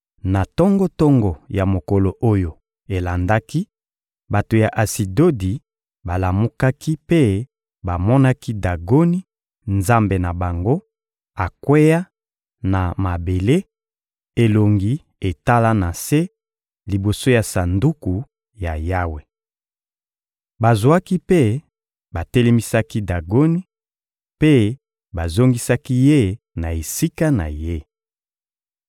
Na tongo-tongo ya mokolo oyo elandaki, bato ya Asidodi balamukaki mpe bamonaki Dagoni, nzambe na bango, akweya na mabele, elongi etala na se, liboso ya Sanduku ya Yawe. Bazwaki mpe batelemisaki Dagoni, mpe bazongisaki ye na esika na ye.